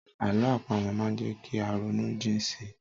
Àlọ́ àpamọ̀ máa ń jẹ́ kí á ronú jìn si.